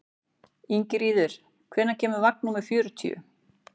Ingiríður, hvenær kemur vagn númer fjörutíu?